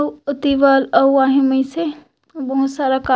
अउ ओती बर अउ आहे मइसे बहुत सारा का--